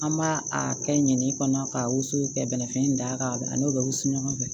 An b'a a kɛ ɲinini kɔnɔ ka woson ka bɛnɛfi in da ka n'o bɛ wusu ɲɔgɔn fɛ